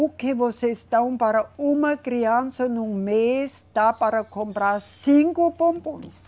O que vocês dão para uma criança num mês dá para comprar cinco bombons.